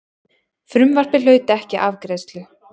Frumvarpið hlaut ekki afgreiðslu.